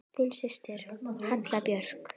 Þín systir, Halla Björk.